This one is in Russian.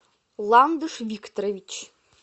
ландыш викторович